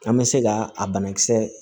An bɛ se ka a banakisɛ